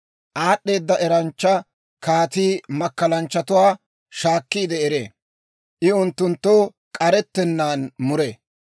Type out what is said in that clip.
Aad'd'eeda eranchcha kaatii makkalanchchatuwaa shaakkiide eree; I unttuntta k'arettennaan muree.